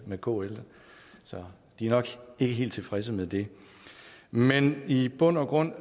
med kl så de er nok ikke helt tilfredse med det men i bund og grund